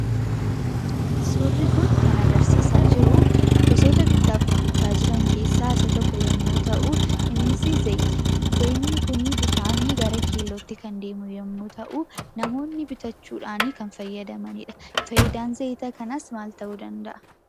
Suurri kun kan agarsiisaa jiru, gosoota bittaaf gurgurtaa jiran keessaa isa tokko yemmuu ta'u, innis zayita. Zayitni kun bifaan gara keellootti kan deemu yemmuu ta'u, namoonni bitachuudhaan kan fayyadamaniidha. Faayidaan zayita kanaas maak ta'uu danda'a?